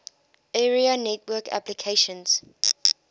area network applications